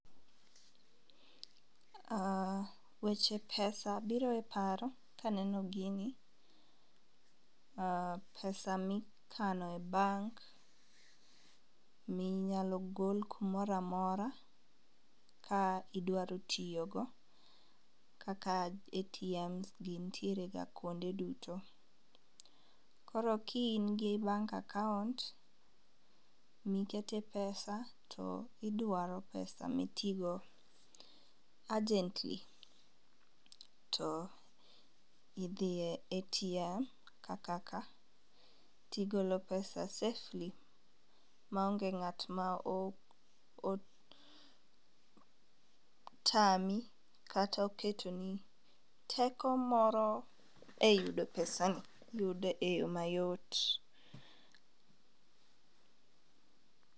Weche pesa biro e paro kaneno gini. Pesa mikano e bank minyalo gol kumoramora kidwaro tiyo go kaka ATM gi ntiere ga kuonde duto. Koro ka in gi bank akaunt mikete pesa to idwaro pesa mitigo urgently to idhiye ATM kaka ka tigolo pesa safely maonge ng'at ma o o tami kato keto ni teko moro e yudo pesa ni iyude yoo mayot.